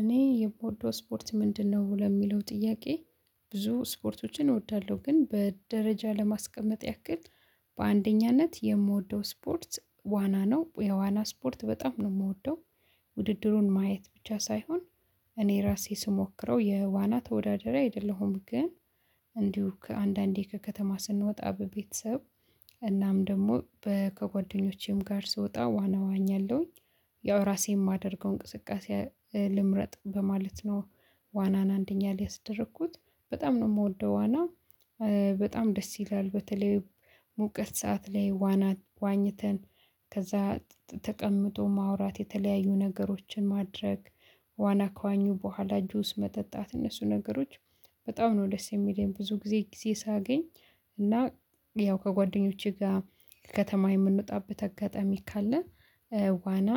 እኔ የምወደው ስፖርት ምንድነው ለሚለው ጥያቄ? ብዙ ስፖርቶችን እወዳለሁ ግን በደረጃ ለማስቀመጥ ያክል። በአንደኛነት የምወደው ስፖርት ዋና ነው የዋና ስፖርት በጣም ነው የምወደው። ውድድሩን ማየት ብቻ ሳይሆን እኔ ራሴ ስሞክረው የዋና ተወዳደሪ አይደለሁም። ግን እንዲሁ ከአንዳንዴ ከከተማ ስንወጣ በቤተሰብ እናም ደግሞ ከጓደኞቼም ጋር ስወጣ ዋና እዋኛለሁኝ። ያው ራሴ የማደርገው እንቅስቃሴ ልምረጥ በማለት ነው። ዋናን አንደኛ ላይ ያስደረኩት በጣም ነው የምወደው ዋና። በጣም ደስ ይላል በተለይ ሙቀት ሰዓት ላይ ዋና ዋኝተን ከዛ ተቀምጦ ማውራት የተለያዩ ነገሮችን ማድረግ። ዋና ከዋኙ በኋላ ጁስ መጠጣት እነሱ ነገሮች በጣም ነው ደስ የሚለኝ ብዙ ጊዜ ጊዜ ሳገኝ። እና ያው ከጓደኞቼ ጋር ከከተማ የምንወጣበት አጋጣሚ ካለ። ዋና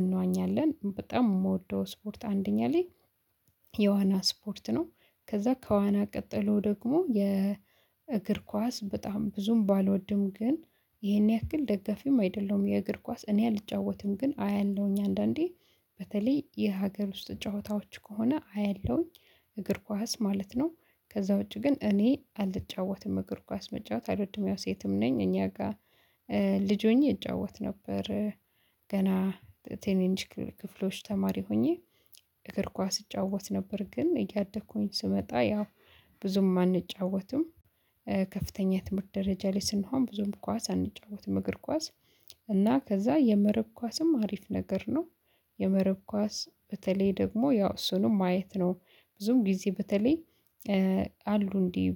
እንዋኛለን በጣም የምወደው ስፖርት አንደኛ ላይ የዋና ስፖርት ነው። ከዛ ከዋና ቀጠሎ ደግሞ የእግር ኳስ በጣም ብዙም ባልወድም ግን ይሄን ያክል ደጋፊም አይደለሁም። የእግር ኳስ እኔ አልጫወትም ግን አያለሁኝ አንዳንዴ በተለይ የሀገር ውስጥ ጨዋታዎች ከሆነ አያለሁኝ። እግር ኳስ ማለት ነው። ከዛ ውጪ ግን እኔ አልጫወትም እግር ኳስ መጫወት አልወድም። ያው ሴትም ነኝ እኛ ጋር ልጅ ሆኜ እጫወት ነበር። ገና ትንንሽ ክፍሎች ተማሪ ሆኜ እግር ኳስ እጫወት ነበር ግን እያደኩኝ ስመጣ ያው ብዙም አንጫወትም። ከፍተኛ የትምህርት ደረጃ ላይ ስንሆን ብዙም ኳስ አንጫወትም እግር ኳስ። እና ከዛ የመረብ ኳስም አሪፍ ነገር ነው። የመረብ ኳስ በተለይ ደግሞ ያው እሱንም ማየት ነው። ብዙን ጊዜ በተለይ አሉ እንዲህ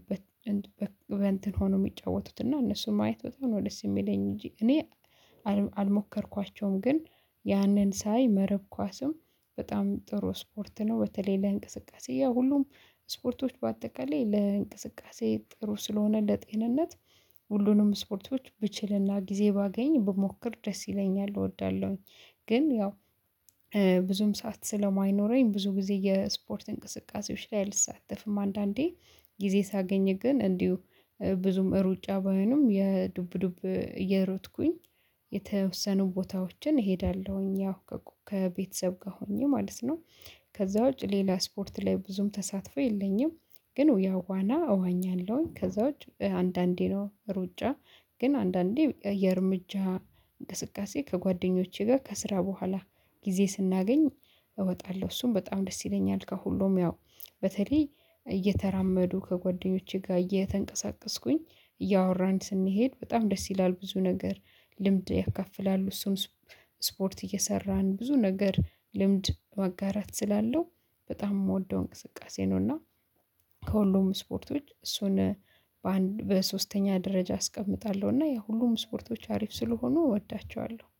በእንትን ሆነው የሚጫወቱት እና እነሱን ማየት በጣም ነው ደስ የሚለኝ። እንጂ እኔ አልሞከርኳቸውም ግን ያንን ሳይ መረብ ኳስም በጣም ጥሩ ስፖርት ነው። በተለይ ለእንቅስቃሴ ያው ሁሉም ስፖርቶች በአጠቃላይ ለእንቅስቃሴ ጥሩ ስለሆነ ለጤንነት ሁሉንም ስፖርቶች ብችል እና ጊዜ ባገኝ ብሞክር ደስ ይለኛል እወዳለሁኝ። ግን ያው ብዙም ሰዓት ስለማይኖረኝ ብዙ ጊዜ የስፖርት እንቅስቃሴዎች ላይ አልሳተፍም። አንዳንዴ ጊዜ ሳገኝ ግን እንዲሁ ብዙም ሩጫ ባይሆንም የዱብ ዱብ እየሮጥኩኝ። የተወሰኑ ቦታዎችን እሄዳለሁኝ ያው ከቤተሰብ ጋር ሆኜ ማለት ነው። ከዛ ውጭ ሌላ ስፖርት ላይ ብዙም ተሳትፎ የለኝም። ግን ያው ዋና እዋኛለሁኝ ከዛ ውጪ አንዳንዴ ነው ሩጫ። ግን አንዳንዴ የእርምጃ እንቅስቃሴ ከጓደኞቼ ጋር ከስራ በኋላ ጊዜ ስናገኝ እወጣለሁ እሱም በጣም ደስ ይለኛል። ከሁሉም ያው በተለይ እየተራመዱ ከጓደኞቼ ጋር እየተንቀሳቀስኩኝ እያወራን ስንሄድ በጣም ደስ ይላል ብዙ ነገር። ልምድ ያካፍላሉ እሱን ስፖርት እየሰራን ብዙ ነገር ልምድ ማጋራት ስላለው በጣም የምወደው እንቅስቃሴ ነው። እና ከሁሉም ስፖርቶች እሱን በሶስተኛ ደረጃ አስቀምጣለሁ እና ያው ሁሉም ስፖርቶች አሪፍ ስለሆኑ እወዳቸዋለሁ